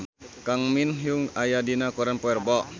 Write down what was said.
Kang Min Hyuk aya dina koran poe Rebo